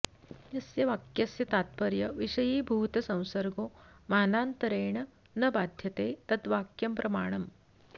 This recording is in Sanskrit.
यस्य वाक्यस्य तात्पर्य विषयीभूतसंसर्गो मानान्तरेण न बाध्यते तद्वाक्यं प्रमाणम्